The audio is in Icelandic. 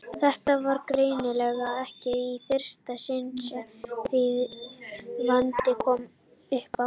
Þetta var greinilega ekki í fyrsta sinn sem þvílíkur vandi kom uppá.